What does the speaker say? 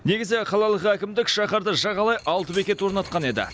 негізі қалалық әкімдік шаһарды жағалай алты бекет орнатқан еді